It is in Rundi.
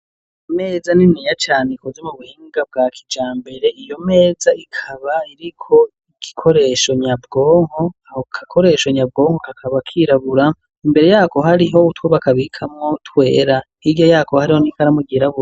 Ameza niniya cane ikoze mu buhinga bwa kijambere iyo meza ikaba iriko igikoresho nyabwonko. Ako gakoresho nyabwonko kakaba kirabura imbere yako hariho utwobakabikamo twera irya yako hariho n'ikaramu ryirabura.